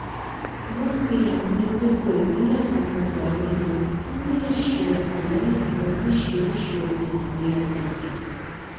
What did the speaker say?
wón gbin àwọn ewéko ìbílè sínú ọgbà ilé wọn kí wón lè ṣe àtìlẹyìn fún oríṣiriṣi ohun ọgbìn agbègbè